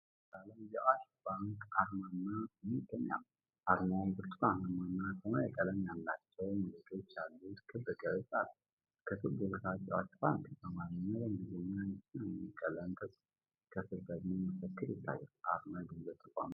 በነጭ ዳራ ላይ የአዋሽ ባንክአርማና ስም ይገኛሉ። አርማው ብርቱካናማ እና ሰማያዊ ቀለም ያላቸው ሞገዶች ያሉት ክብ ቅርጽ አለው። ከክቡ በታች "አዋሽ ባንክ" በአማርኛ እና በእንግሊዝኛ በሰማያዊ ቀለም ተጽፏል። ከስር ደግሞ መፈክር ይታያል። አርማው የገንዘብ ተቋሙን ይወክላል።